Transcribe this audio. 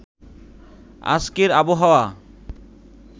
আজকের আবহাওয়া